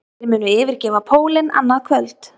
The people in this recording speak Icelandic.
Þeir munu yfirgefa pólinn annað kvöld